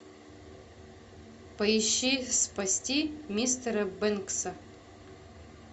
поищи спасти мистера бэнкса